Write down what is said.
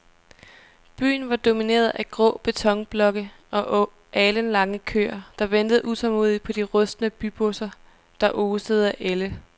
Byen var domineret af grå betonblokke og alenlange køer, der ventede tålmodigt på de rustne bybusser, der osede af ælde.